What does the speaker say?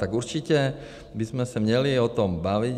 Tak určitě bychom se měli o tom bavit.